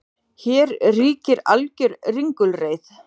Hér ríkir alger ringulreið